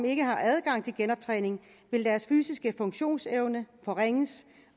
ikke har adgang til genoptræning vil deres fysiske funktionsevne forringes